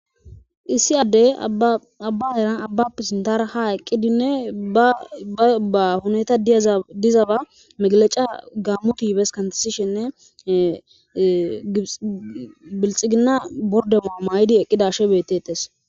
Issi addey abba heran abbape sintar ha eqqidinne aba huneta diyaza dizaba megaleca gaammo tibes kantsishenne bilxigina bordema may7idi eqqidashe betetes.